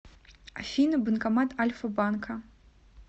афина банкомат альфа банка